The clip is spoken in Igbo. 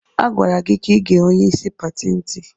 A gwara gị ka igee onyeisi pati ntị!